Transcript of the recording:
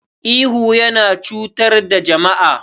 Ihu yana cutar da jama'a.